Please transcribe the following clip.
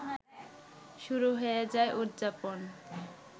শুরু হয়ে যায় উদযাপন